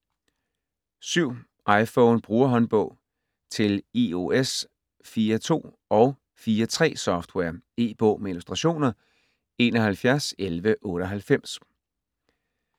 iPhone Brugerhåndbog: Til iOS 4.2- og 4.3-software E-bog med illustrationer 711198